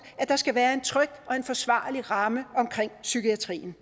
at der skal være en tryg og forsvarlig ramme om psykiatrien